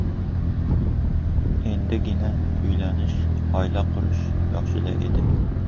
Endigina uylanish, oila qurish yoshida edi.